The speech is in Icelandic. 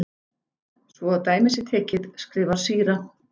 Svo að dæmi sé tekið, skrifar síra